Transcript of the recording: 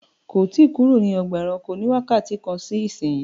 kò tí kúrò ní Ọgbà ẹranko ní wakati kán sí ìsìn!